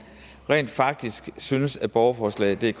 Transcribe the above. rent faktisk synes at borgerforslagdk